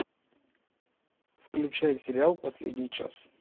включай сериал последний час